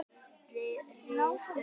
Rís upp!